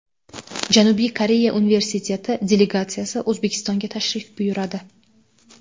Janubiy Koreya universiteti delegatsiyasi O‘zbekistonga tashrif buyuradi.